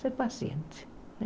Ser paciente.